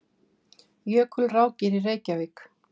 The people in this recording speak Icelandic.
Jökulrákir í Reykjavík.